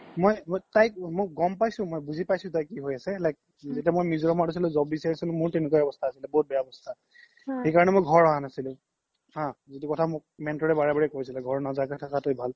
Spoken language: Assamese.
মই গ্'ম পাইছে মই বুজি পাইছো তাইক কি হৈ আছে like যেতিয়া মই মিজোৰাম ত আছিলো job বিছাৰি আছিলো মোৰো তেনেকুৱাই আৱ্যস্থা আছিলে বহুত বেয়া আৱ্যস্থা সেকাৰনে মই ঘৰ আহা নাছিলো হা যিতো কথা মোক mentor ৰে বাৰে বাৰে কৈছিলে ঘৰত নোযোৱা কে থাকাতোৱে ভাল